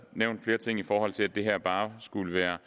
nævnt flere ting i forhold til at det her bare skulle være